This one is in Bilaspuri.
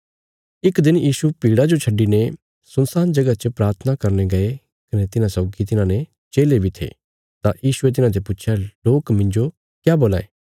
इक दिन यीशु भीड़ा जो छड्डिने सुनसान जगह च प्राथना करने गये कने तिन्हां सौगी तिन्हारे चेले बी थे तां यीशुये तिन्हाते पुच्छया लोक मिन्जो क्या बोलां ये